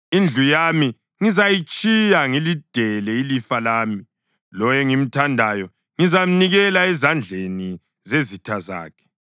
Indlu yami ngizayitshiya, ngilidele ilifa lami; lowo engimthandayo ngizamnikela ezandleni zezitha zakhe.